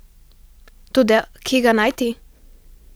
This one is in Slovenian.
Toda kje ga najti?